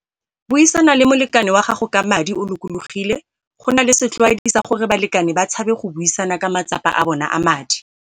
Buisana le molekani wa gago ka madi o lokologile go na le setlwaedi sa gore balekani ba tshabe go buisana ka matsapa a bona a madi.